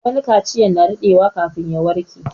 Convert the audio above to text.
Wani kaciyar ya na daɗewa kafin ya warƙe